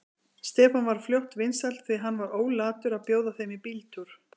Stefán varð fljótt vinsæll, því hann var ólatur að bjóða þeim í bíltúr.